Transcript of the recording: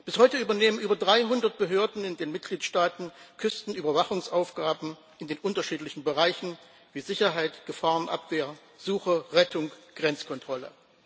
Bis heute übernehmen über 300 Behörden in den Mitgliedstaaten Küstenüberwachungsaufgaben in unterschiedlichen Bereichen wie Sicherheit, Gefahrenabwehr, Suche, Rettung, Grenzkontrolle.